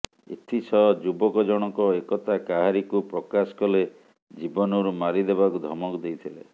ଏଥିସହ ଯୁବକ ଜଣଙ୍କ ଏକଥା କାହାରିକୁ ପ୍ରକାଶ କଲେ ଜୀବନରୁ ମାରିଦେବାକୁ ଧମକ ଦେଇଥିଲେ